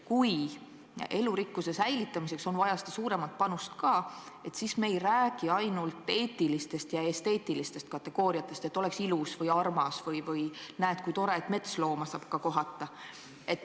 Kui elurikkuse säilitamiseks on vaja seda suuremat panust, siis me ei räägi ainult eetilistest ja esteetilistest kategooriatest – et oleks ilus või armas või näe, kui tore, et metslooma saab ka kohata.